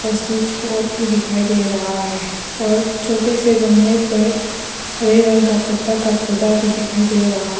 Switch board भी दिखाई दे रहा है और छोटे से गमले पर हरे रंग का पत्ता का पौधा भी दिखाई दे रहा है।